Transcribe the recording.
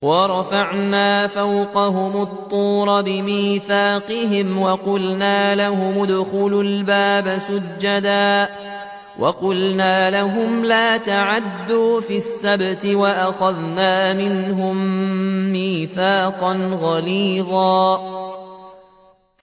وَرَفَعْنَا فَوْقَهُمُ الطُّورَ بِمِيثَاقِهِمْ وَقُلْنَا لَهُمُ ادْخُلُوا الْبَابَ سُجَّدًا وَقُلْنَا لَهُمْ لَا تَعْدُوا فِي السَّبْتِ وَأَخَذْنَا مِنْهُم مِّيثَاقًا غَلِيظًا